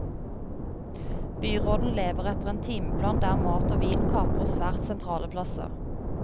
Byråden lever etter en timeplan der mat og vin kaprer svært sentrale plasser.